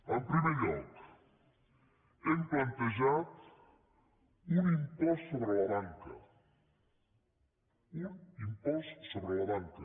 en primer lloc hem plantejat un impost sobre la banca un impost sobre la banca